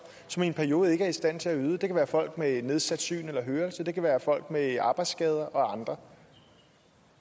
som i en periode ikke er i stand til at yde det kan være folk med nedsat syn eller hørelse det kan være folk med arbejdsskader og andre